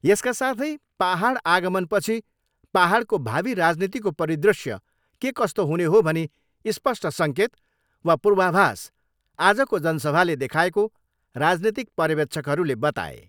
यसका साथै पाहाडड आगमनपछि पाहाडको भावी राजनीतिको परिदृश्य के कस्तो हुने हो भनी स्पष्ट सङ्केत वा पूर्वाभास आजको जनसभाले देखाएको राजनीतिक पर्यवेक्षकहरूले बताए।